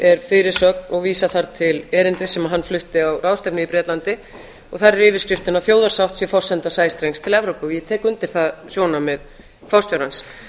er fyrirsögn og er vísað þar til erindis sem hann flutti á ráðstefnu í bretlandi og þar er yfirskrift að þjóðarsátt sé forsenda sæstrengs til evrópu ég tek undir það sjónarmið forstjórans